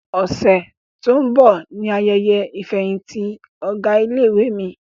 Ọ̀sẹ̀ tó ń bọ̀ ni ayẹyẹ ìfẹ̀yìntì ọ̀gá ilé-ìwé mi.